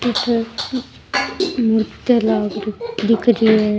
अठ मूर्तियां लाग रखी दिख री है।